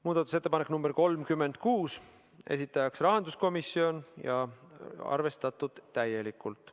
Muudatusettepanek nr 36, esitajaks on rahanduskomisjon ja seda on arvestatud täielikult.